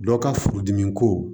Dɔ ka furudimi ko